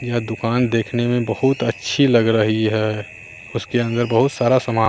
यह दुकान देखने में बहुत अच्छी लग रही है उसके अंदर बहुत सारा सामान--